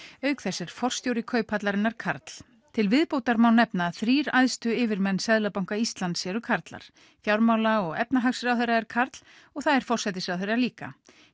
auk þess er forstjóri Kauphallarinnar karl til viðbótar má nefna að þrír æðstu yfirmenn Seðlabanka Íslands eru karlar fjármála og efnahagsráðherra er karl og það er forsætisráðherra líka